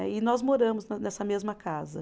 E nós moramos nessa mesma casa.